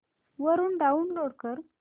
वरून डाऊनलोड कर